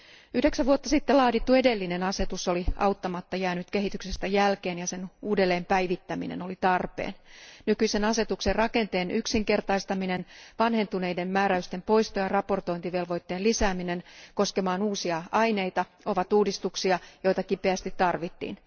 Yhdeksän vuotta sitten laadittu edellinen asetus oli auttamatta jäänyt kehityksestä jälkeen ja sen uudelleen päivittäminen oli tarpeen. Nykyisen asetuksen rakenteen yksinkertaistaminen, vanhentuneiden määräysten poistaminen ja raportointivelvoitteen lisääminen koskemaan uusia aineita ovat uudistuksia, joita kipeästi tarvittiin.